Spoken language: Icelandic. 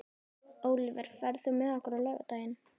Ólíver, ferð þú með okkur á laugardaginn?